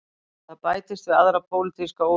Það bætist við aðra pólitíska óvissu